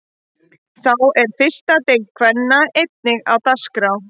Þá er fyrsta deild kvenna einnig á dagskrá.